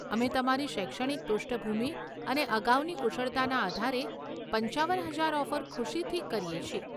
અમે તમારી શૈક્ષણિક પૃષ્ઠભૂમિ અને અગાઉની કુશળતાના આધારે પંચાવન હજાર ઓફર ખુશીથી કરીએ છીએ.